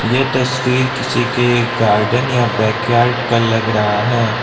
यह तस्वीर किसी के गार्डन या बैकयार्ड का लग रहा है।